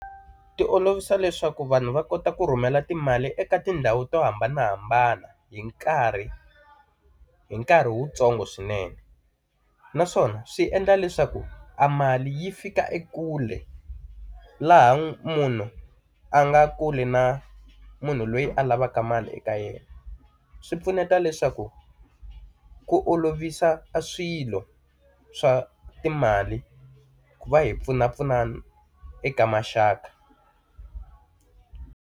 Ti olovisa leswaku vanhu va kota ku rhumela timali eka tindhawu to hambanahambana hi nkarhi hi nkarhi wuntsongo swinene. Naswona swi endla leswaku amali yi fika ekule, laha munhu a nga kule na munhu loyi a lavaka mali eka yena. Swi pfuneta leswaku ku olovisa swilo swa timali ku va hi pfunapfuna eka maxaka.